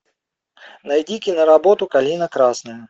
найди киноработу калина красная